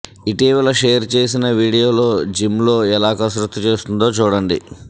ఇటీవల షేర్ చేసిన వీడియోలో జిమ్లో ఎలా కసరత్తు చేస్తుందో చూడండి